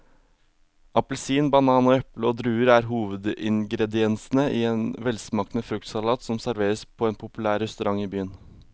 Appelsin, banan, eple og druer er hovedingredienser i en velsmakende fruktsalat som serveres på en populær restaurant i byen.